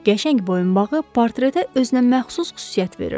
qəşəng boyunbağı portretə özünəməxsus xüsusiyyət verirdi.